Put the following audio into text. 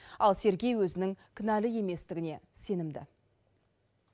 ал сергей өзінің кінәлі еместігіне сенімді